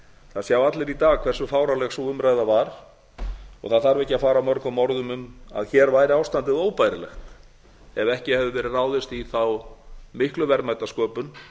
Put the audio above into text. það sjá allir í dag hversu fáránleg sú umræða var og það þarf ekki að fara mörgum orðum um að hér væri ástandið óbærilegt ef ekki hefði verið ráðist í þá miklu verðmætasköpun